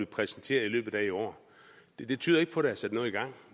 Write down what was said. præsenteret i løbet af i år det tyder ikke på at der er sat noget i gang